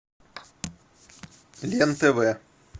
лен тв